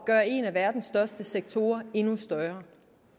gøre en af verdens største sektorer endnu større